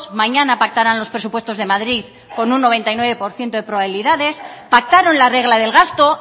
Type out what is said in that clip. mañana pactarán los presupuestos de madrid con un noventa y nueve por ciento de probabilidades pactaron la regla del gasto